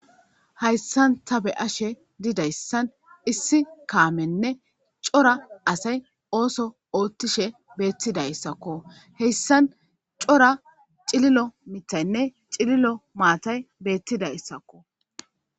Hayssan ta be'ashe didayssan issi kaamenne c'ora asay ooso ooththishe bettidayssakko heyssan c'ora cillilo miiththaynne cillilo maatay bettidaysakko.